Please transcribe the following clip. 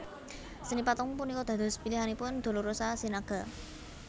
Seni patung punika dados pilihanipun Dolorosa Sinaga